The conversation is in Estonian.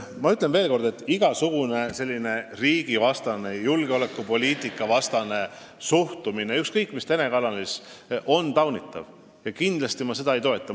Ma ütlen veel kord, et igasugune riigivastane, julgeolekupoliitika vastane suhtumine ükskõik mis telekanalis on taunitav ja ma seda kindlasti ei toeta.